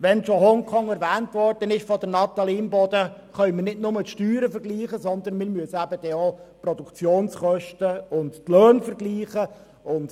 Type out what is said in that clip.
Wenn Natalie Imboden schon Hongkong erwähnt, können wir nicht nur die Steuern vergleichen, sondern müssen auch die Produktionskosten und die Löhne berücksichtigen;